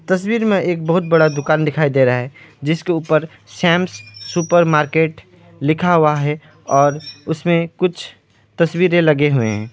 तस्वीर में एक बहुत बड़ा दुकान दिखाई दे रहा है जिसके ऊपर शम्स सुपरमार्केट लिखा हुआ है और उसमें कुछ तस्वीरें लगे हुए हैं।